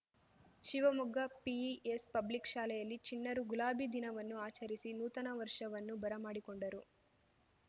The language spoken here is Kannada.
ಶಿವಮೊಗ್ಗ ಪಿಇಎಸ್‌ ಪಬ್ಲಿಕ್‌ ಶಾಲೆಯಲ್ಲಿ ಚಿಣ್ಣರು ಗುಲಾಬಿ ದಿನವನ್ನು ಆಚರಿಸಿ ನೂತನ ವರ್ಷವನ್ನು ಬರ ಮಾಡಿಕೊಂಡರು